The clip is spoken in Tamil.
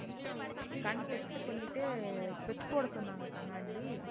கண் test பண்ணிட்டு specs போடச் சொன்னாங்க கண்ணாடி